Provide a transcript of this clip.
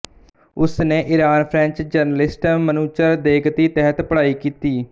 ਉਸ ਨੇ Iran French journalist Manouchehr ਦੇਘਤੀ ਤਹਿਤ ਵੀ ਪੜ੍ਹਾਈ ਕੀਤੀ